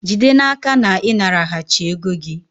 jide n'aka na ị naraghachi ego gị!